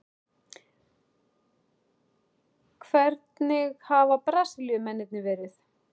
Hvernig hafa Brasilíumennirnir verið?